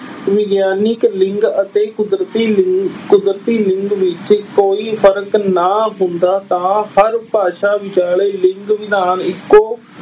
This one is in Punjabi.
ਵਿਗਿਆਨਕ ਲਿੰਗ ਅਤੇ ਕੁਦਰਤੀ ਅਹ ਕੁਦਰਤੀ ਲਿੰਗ ਵਿੱਚ ਕੋਈ ਫਰਕ ਨਾ ਹੁੰਦਾ ਤਾਂ ਹਰ ਭਾਸ਼ਾ ਵਿਚਾਲੇ ਲਿੰਗ ਵਿਧਾਨ ਇਕੋ